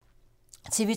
TV 2